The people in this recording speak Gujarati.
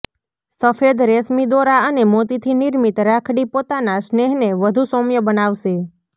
સફેદ રેશમી દોરા અને મોતીથી નિર્મિત રાખડી પોતાના સ્નેહને વધુ સૌમ્ય બનાવશે